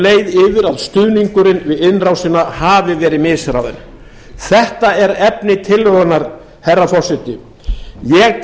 að stuðningurinn við innrásina hafi verið misráðinn þetta er efni tillögunnar herra forseti ég